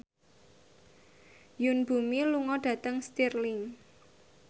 Yoon Bomi lunga dhateng Stirling